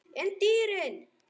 En dýrin?